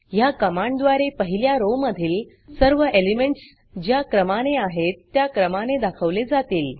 ह्या कमांडद्वारे पहिल्या rowरो मधील सर्व एलिमेंटस ज्या क्रमाने आहेत त्या क्रमाने दाखवले जातील